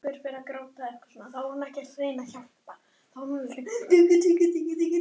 Ríkið á val.